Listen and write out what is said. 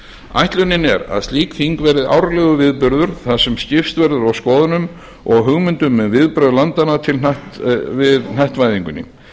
ætlunin er að slík þing verði árlegur viðburður þar sem skipst verður á skoðunum og hugmyndum um viðbrögð landanna við hnattvæðingunni